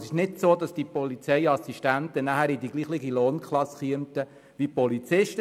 Die Polizeiassistenten kämen somit nicht in dieselbe Lohnklasse wie die Polizisten.